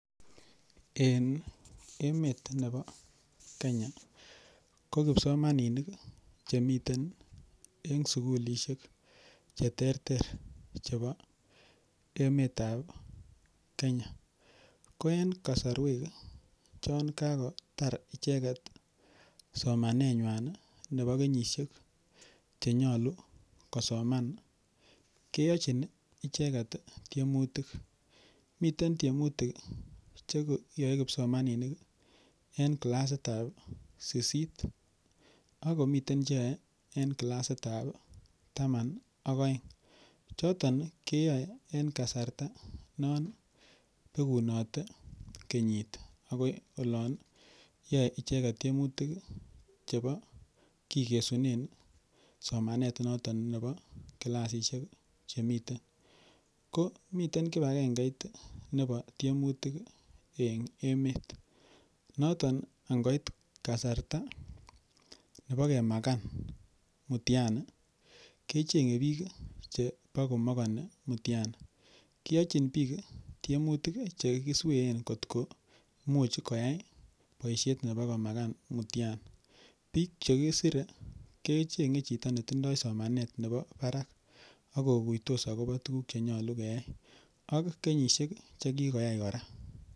En emet nepa Kenya ko kipsomaninik che miten en sukulishek che terter chepo emet ap Kenya ko en kasarwek chan kakotar icheget somanenywan nepo kenyishek che nyalu kosoman koyache kikachi icheget tiemutik. Miten tiemutik che yae kipsomaninik eng' klasit ap sisit ako mitei che yae eng' klasitap taman ak aeng'. Choton keyae eng' kasarta non pekunate kenyit akoi olan yae icheget tiemutik chepo kikesunen somanet noton nepa klasishek che miten. Ko miten kip agengeit nepa tiemutik en emet. Noton anhoit kasarta nepo krmakan mtiani ke cheng'e piik che pa ko makani mtiani. Kiyachin piik tiemutik che kisween kot ko much koyai poishet nepo komakan mtiani. Piik che kisire kecheng'e chito ne tindai somanet nepa parak ako kuitos akopa tuguuk che nyalu keyai ak kenyishek che kikoyai kora.